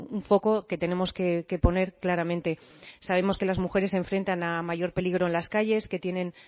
un foco que tenemos que poner claramente sabemos que las mujeres se enfrentan a mayor peligro en las calles que tienen